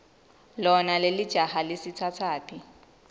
lona lelijaha lisitsatsaphi